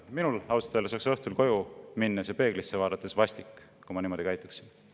Minul ausalt öeldes oleks õhtul koju minnes ja peeglisse vaadates vastik, kui ma niimoodi käituksin.